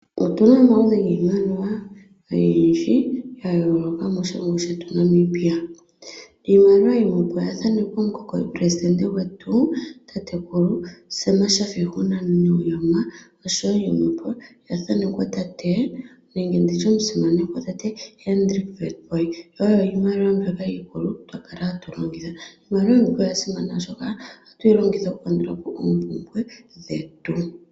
Otuna omaludhi giimaliwa oyindji ga yooloka moshilongo shetu sha Namibia. Iimaliwa yimwepo oya thanekwa omukokoli pelesindente gwetu, tatekulu Sam Shafishuna Nuuyoma, oshowo yimwepo oya thanekwa tate nenge nditye omusimanekwa tate Hendrik Witbooi. Iimaliwa yimwe iikulu mbyokayqa lala hatu longitha. Iimaliwa oya simana oshoka ohatu yi longitha okukandulapo oompumbwe dhetu.